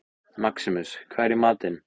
Maximus, hvað er í matinn?